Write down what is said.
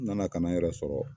N nana ka na n yɛrɛ sɔrɔ